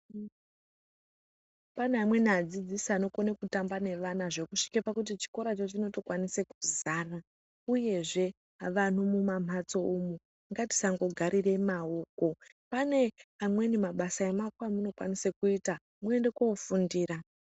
Pane amweni adzidzisi anokone kutamba nevana zvekusvike pakuti chikoracho chinoto kwanise kuzara uyezve vantu mumamhatso umwo ngatisangogarire maoko pane amweni mabasa emaoko emunokwanise kuita mwoende kofundira.